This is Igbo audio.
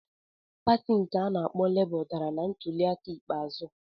Pati nke a na-akpọ Labour dara na ntuliaka ikpeazụ.